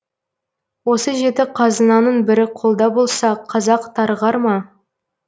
осы жеті қазынаның бірі қолда болса қазақ тарығар ма